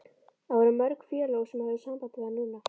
En voru mörg félög sem höfðu samband við hann núna?